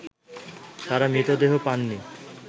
তারা মৃতদেহ পাননি